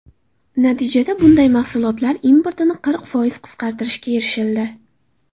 Natijada bunday mahsulotlar importini qirq foiz qisqartirishga erishildi.